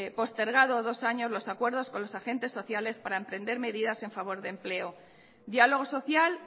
postergado dos años los acuerdos con los agentes sociales para emprender medidas a favor de empleo diálogo social